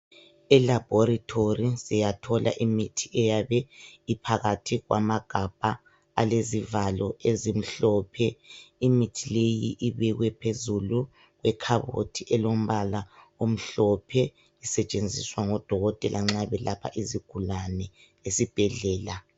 Elabhorathori siyathola imithi eyabe iphakathi kwamagabha alezivalo ezimhlophe. Imithi leyi ibekwe phezulu ekhabothi elombala omhlophe isetshenziswa ngodokotela nxa belapha izigulane esibhedlela.